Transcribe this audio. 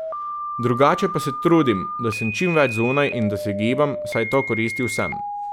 Drugače pa se trudim, da sem čim več zunaj in da se gibam, saj to koristi vsem.